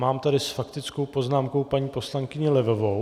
Mám tady s faktickou poznámkou paní poslankyni Levovou.